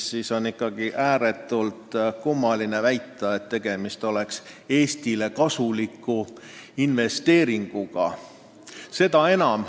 Nii on ikkagi ääretult kummaline väita, et tegemist on Eestile kasuliku investeeringuga.